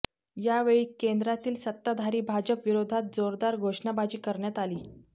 यावेळी केंद्रातील सत्ताधारी भाजप विरोधात जोरदार घोषणाबाजी करण्यात आली